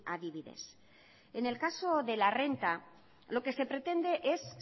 adibidez en el caso de la renta lo que se pretende es